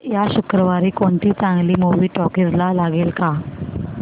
या शुक्रवारी कोणती चांगली मूवी टॉकीझ ला लागेल का